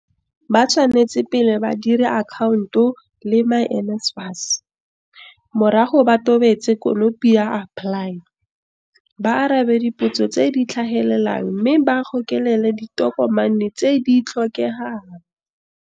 Ba tshwanetse pele ba dire akhaonto le myNSFAS, morago ba tobetse konopi ya AppLY, ba arabe dipotso tse di tla tlhagelelang mme ba gokelele ditokomane tse di tlhokegang.